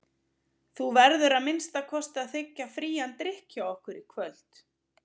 Þú verður að minnsta kosti að þiggja frían drykk hjá okkur í kvöld.